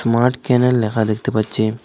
Smart কেনেল লেখা দেখতে পাচ্ছি।